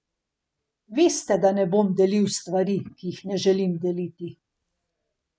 Veste, da ne bom delil stvari, ki jih ne želim deliti.